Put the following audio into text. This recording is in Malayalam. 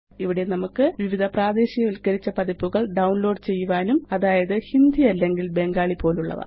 ഇവിടെ നമുക്ക് വിവിധ പ്രാദേശികവല്ക്കരിച്ച പതിപ്പുകള് ഡൌൺലോഡ് ചെയ്യുവാനുമാകും അതായത് ഹിന്ദി അല്ലെങ്കില് ബംഗാലി പോലുള്ളവ